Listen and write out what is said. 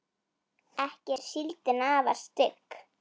ekki er síldin afar stygg